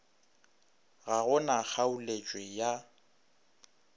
ga go na kgaoletšwe ya